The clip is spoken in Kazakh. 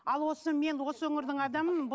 ал осы мен осы өңірдің адамымын